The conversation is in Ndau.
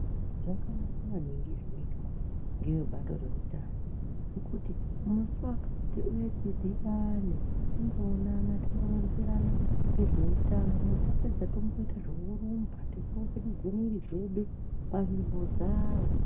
Zvakanaka maningi zvinoitwa ngeebato reutano zvekuti musi wakati uyai tidhibane timboonana timboronzerana ngezveutano tapedza tomboite zvekurumba teimbopetudze mwiri dzedu panzvimbo dzawo.